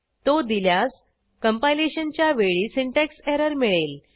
तो दिल्यास कंपायलेशनच्या वेळी सिंटॅक्स एरर मिळेल